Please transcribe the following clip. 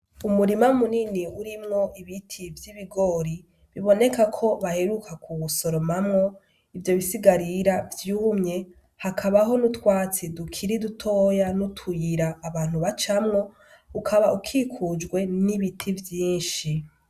Umurima munini urimwo ibiti vy'ibigori biboneka ko baheruka kuwusoromamwo. Ivyo bisigarira vyumye, hakabaho n'utwatsi dukuri dutoya n'utuyira abantu bacamwo, ukaba ukikujwe n'ibiti vyinshi.